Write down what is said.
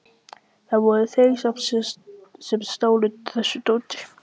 Það voru þeir sem stálu þessu dóti.